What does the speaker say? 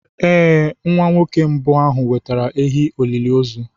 Ee, Nwa nwoke mbụ ahụ wetara ehi olili ozu.